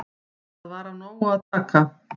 Þar var af nógu að taka.